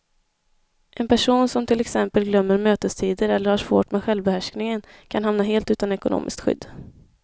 En person som till exempel glömmer mötestider eller har svårt med självbehärskningen kan hamna helt utan ekonomiskt skydd.